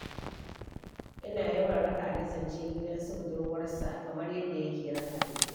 Ina yawan raka Ali zance gidan su budurwarsa, kamar yadda yake raka ni.